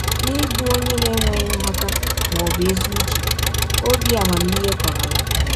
N’ịbụ ọnye na - enweghị nghọta ma ọ bụ ezi ụche, ọbi amamihe kọrọ ya.